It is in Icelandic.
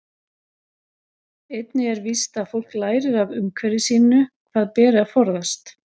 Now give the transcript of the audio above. Einnig er víst að fólk lærir af umhverfi sínu hvað beri að forðast.